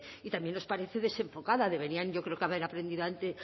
y también nos parece desenfocada deberían yo creo que haber aprendido